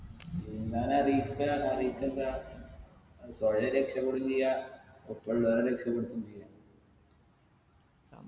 നീന്താനറിയിക്ക അറിയിട്ടെന്താ ഏർ സ്വയം രക്ഷപെടും ചെയ്യാ ഒപ്പുള്ളവരെ രക്ഷപ്പെടുത്തും ചെയ്യാ